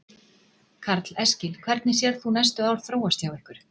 Karl Eskil: Hvernig sérð þú næstu ár þróast hjá ykkur?